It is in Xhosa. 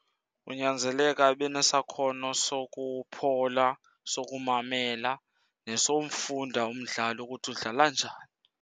Kunyanzeleka ibe nesakhono sokuphola, sokumamela nesomfunda umdlali ukuthi udlala njani.